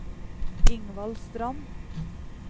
Ingvald Strand